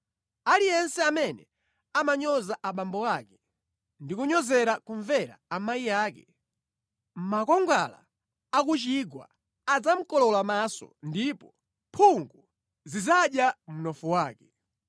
Aliyense amene amanyoza abambo ake, ndi kunyozera kumvera amayi ake, makwangwala a ku chigwa adzamukolowola maso ndipo mphungu zidzadya mnofu wake.